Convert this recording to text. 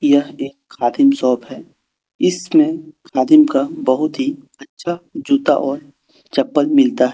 यह एक खादिम शॉप है। इसमें खादिम का बहुत ही अच्छा जूता और चप्पल मिलता है।